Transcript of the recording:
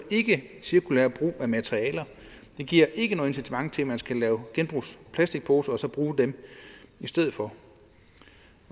et cirkulært brug af materialer det giver ikke noget incitament til at man skal lave genbrugsplastikposer og så bruge dem i stedet for